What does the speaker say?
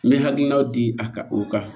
N bɛ hakilinaw di a ka o kan